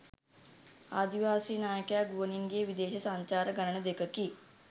ආදිවාසී නායකයා ගුවනින් ගිය විදේශ සංචාර ගණන දෙකකි.